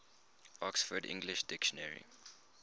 oxford english dictionary